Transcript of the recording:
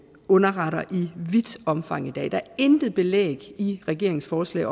underretter i vidt omfang i dag der er intet belæg i regeringens forslag